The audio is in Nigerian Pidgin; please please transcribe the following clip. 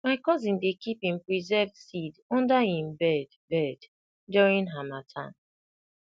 my cousin dey keep him preserved seed under him bed bed during harmattan